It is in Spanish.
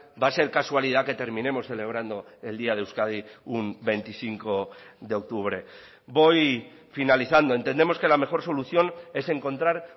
va a ser casualidad que terminemos celebrando el día de euskadi un veinticinco de octubre voy finalizando entendemos que la mejor solución es encontrar